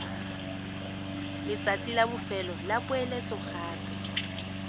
letsatsi la bofelo la poeletsogape